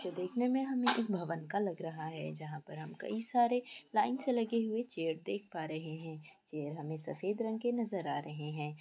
जो देखने में हमें एक भवन का लग रहा है| जहाँ पर हम कई सारे लाइन से लगी हुई चेयर्स देख पा रहे हैं| चेयर हमें सफ़ेद रंग के नज़र आ रहे हैं।